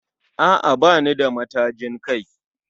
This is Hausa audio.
A'a bani da matajin kai